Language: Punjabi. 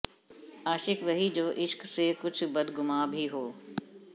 ਆਸ਼ਿਕ ਵਹੀ ਜੋ ਇਸ਼ਕ ਸੇ ਕੁਛ ਬਦਗੁਮਾਂ ਭੀ ਹੋ